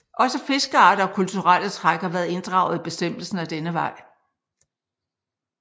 Også fiskearter og kulturelle træk har været inddraget i bestemmelsen ad denne vej